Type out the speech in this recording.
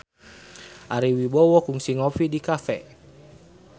Ari Wibowo kungsi ngopi di cafe